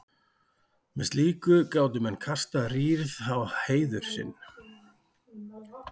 með slíku gátu menn kastað rýrð á heiður sinn